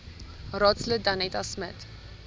raadslid danetta smit